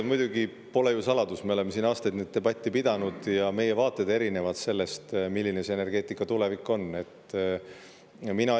Muidugi pole saladus – me oleme siin aastaid seda debatti pidanud –, et meie vaated, milline see energeetika tulevik on, on erinevad.